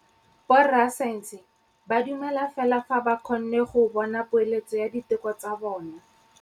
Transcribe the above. Borra saense ba dumela fela fa ba kgonne go bona poeletsô ya diteko tsa bone.